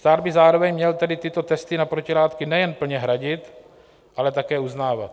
Stát by zároveň měl tedy tyto testy na protilátky nejen plně hradit, ale také uznávat.